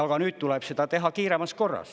Aga nüüd tuleb seda teha kiiremas korras.